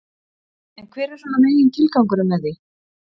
En hver er svona megin tilgangurinn með því?